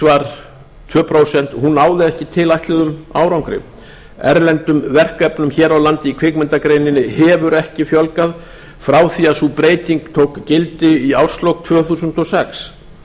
var tvö prósent náði ekki tilætluðum árangri erlendum verkefnum hér á landi í kvikmyndagreininni hefur ekki fjölgað frá því sú breyting tók gildi í árslok tvö þúsund og sex